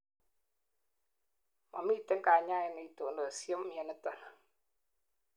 momitei kanyaet neitonosie mioniton